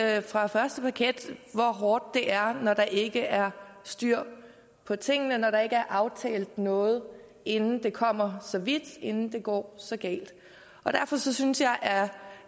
jeg har fra første parket kunnet se hvor hårdt det er når der ikke er styr på tingene når der ikke er aftalt noget inden det kommer så vidt inden det går så galt derfor synes jeg